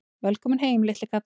Velkominn heim, litli kall!